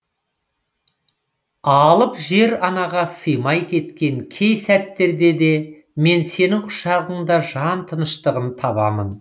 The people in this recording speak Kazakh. алып жер анаға сыймай кеткен кей сәттерде де мен сенің құшағыңда жан тыныштығын табамын